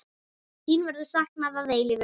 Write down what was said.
Þín verður saknað að eilífu.